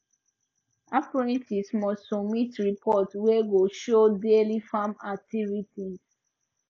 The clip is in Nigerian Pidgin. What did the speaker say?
apprentices must submit report wey go show daily farm activities